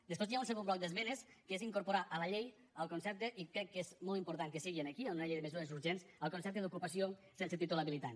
després hi ha un segon bloc d’esmenes que és incorporar a la llei el concepte i crec que és molt important que sigui aquí en una llei de mesures urgents el concepte d’ocupació sense títol habilitant